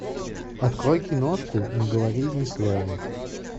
открой киношку не говори ни слова